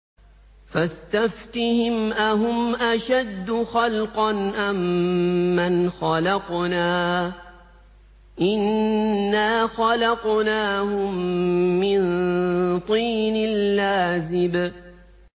فَاسْتَفْتِهِمْ أَهُمْ أَشَدُّ خَلْقًا أَم مَّنْ خَلَقْنَا ۚ إِنَّا خَلَقْنَاهُم مِّن طِينٍ لَّازِبٍ